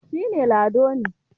shi ne Lado ne